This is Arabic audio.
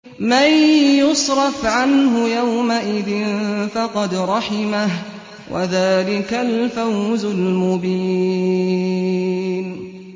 مَّن يُصْرَفْ عَنْهُ يَوْمَئِذٍ فَقَدْ رَحِمَهُ ۚ وَذَٰلِكَ الْفَوْزُ الْمُبِينُ